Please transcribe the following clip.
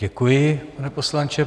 Děkuji, pane poslanče.